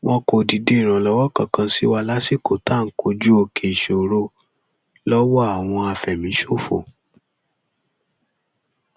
wọn kò dìde ìrànlọwọ kankan sí wa lásìkò tá à ń kojú òkè ìṣòro lọwọ àwọn àfẹmíṣòfò